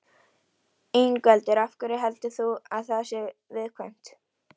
Ingveldur: Af hverju heldur þú að það sé viðkvæmt?